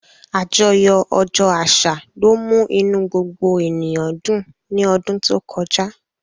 Àjọyọ̀ ọjọ́ àṣà ló mú inú gbogbo ènìyàn dùn ní ọdún tó kọjá